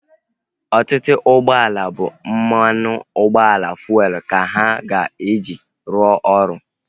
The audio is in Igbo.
Ọtụtụ ụgbọala bụ mmanụ ụgbọala fuelu ka ha ga-eji rụọ ọrụ